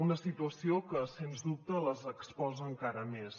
una situació que sens dubte les exposa encara més